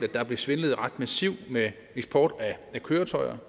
at der blev svindlet ret massivt med eksport af køretøjer